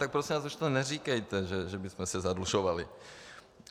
Tak prosím vás už to neříkejte, že bychom se zadlužovali.